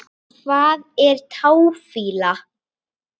Hvað er táfýla?